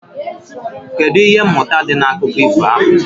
Kedụ ihe mmụta dị n'akụkọ ifo ahụ?